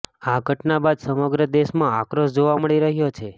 આ ઘટના બાદ સમગ્ર દેશમાં આક્રોશ જોવા મળી રહ્યો છે